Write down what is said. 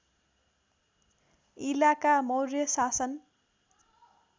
इलाका मौर्य शासन